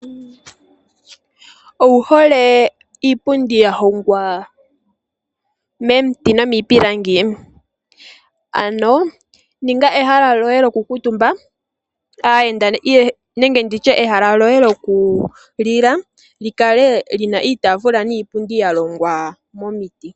Ouhole iipundi ya hongwa momiti nomiipilangi ? Ano ninga ehala lyoye lyoku kuutumba aayenda nenge nditye ehala lyoye lyoku lila li kale lina iitaafula niipundi ya longwa momiti .